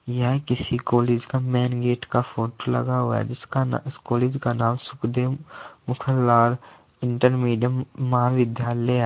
यह किसी कॉलेज का मेंन गेट का फोटो लगा हुआ है जिसका ना इस कॉलेज का नाम शुकदेव मुखनलाल इंटर मीडियम महाविद्यालय है।